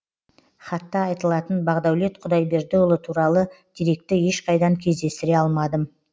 хатта айтылатын бағдәулет құдайбердіұлы туралы деректі ешқайдан кездестіре алмадым